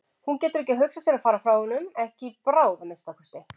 Hún getur ekki hugsað sér að fara frá honum, ekki í bráð að minnsta kosti.